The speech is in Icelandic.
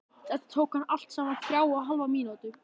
Þetta tók hann allt saman þrjár og hálfa mínútu.